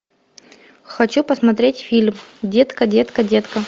хочу посмотреть фильм детка детка детка